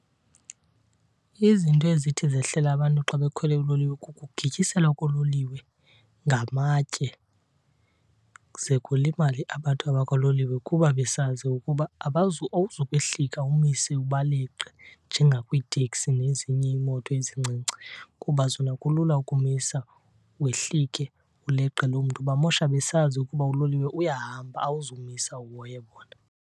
Izinto ezithi zehlele abantu xa bekhwele uloliwe kukugityiselwa koololiwe ngamatye ze kulimale abantu abakuloliwe kuba besazi ukuba awuzukwehlika umise ubaleqe njengakwiiteksi nezinye iimoto ezincinci, kuba zona kulula ukumisa wehlike uleqe loo mntu. Bamosha besazi ukuba uloliwe uyahamba awuzumisa uhoye bona.